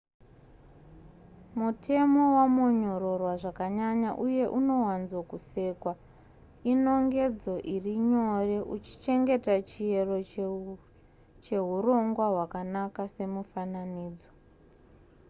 mutemo wamonyororwa zvakanyanya uye unowanzo kusekwa inongedzo iri nyore uchichengeta chiyero chehurongwa hwakanaka semufananidzo